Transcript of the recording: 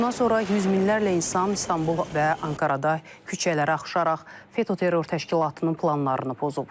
Bundan sonra yüz minlərlə insan İstanbul və Ankarada küçələrə axışaraq FETÖ terror təşkilatının planlarını pozub.